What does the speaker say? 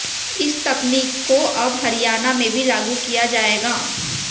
इस तकनीक को अब हरियाणा में भी लागू किया जाएगा